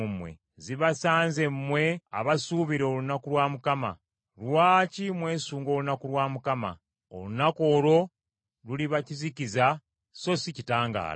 Zibasanze mmwe abasuubira olunaku lwa Mukama . Lwaki mwesunga olunaku lwa Mukama ? Olunaku olwo luliba kizikiza so si kitangaala.